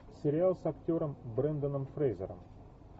сериал с актером бренданом фрейзером